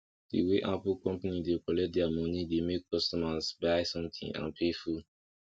the way apple company dey collect their money dey make customers buy something and pay full